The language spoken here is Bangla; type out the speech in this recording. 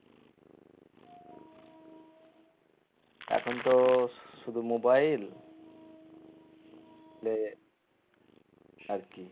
এখন তো শুধু mobile আরকি